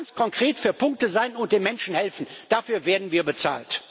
Ganz konkret für Punkte sein und den Menschen helfen dafür werden wir bezahlt.